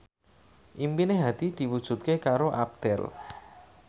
impine Hadi diwujudke karo Abdel